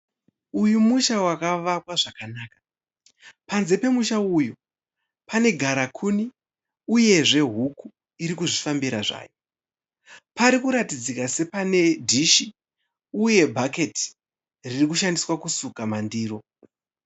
Uyu musha wakavakwa zvakanaka. Panze pemushauyu panegarakuni uyezve huku irikuzvifambira zvayo. Parikuratidzika sepane dhishi uye bhaketi ririkushandiswa kusuka mandiro.